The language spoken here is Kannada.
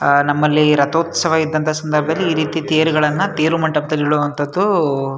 ಆ ನಮ್ಮಲ್ಲಿ ರತೋತ್ಸವ ಇದ್ದಂಥ ಸಂದರ್ಭದಲ್ಲಿ ಈ ರೀತಿ ತೇರುಗಳನ್ನ ತೇರು ಮಂಟಪದಲ್ಲಿ ಇಡುವಂಥದ್ದವು --